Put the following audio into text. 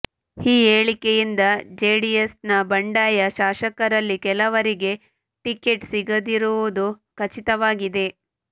ಈ ಹೇಳಿಕೆಯಿಂದ ಜೆಡಿಎಸ್ನ ಬಂಡಾಯ ಶಾಸಕರಲ್ಲಿ ಕೆಲವರಿಗೆ ಟಿಕೆಟ್ ಸಿಗದಿರುವುದು ಖಚಿತವಾಗಿದೆ